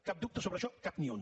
cap dubte sobre això cap ni un